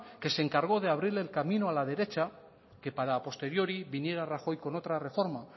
que se encargó de abrir el camino a la derecha que para posteriori viniera rajoy con otra reforma